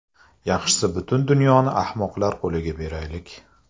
Yaxshisi butun dunyoni ahmoqlar qo‘liga beraylik.